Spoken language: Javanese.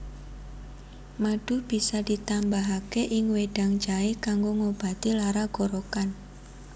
Madu bisa ditambahaké ing wedang jaé kanggo ngobati lara gorokan